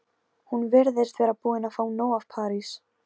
Hún virðist vera búin að fá nóg af París.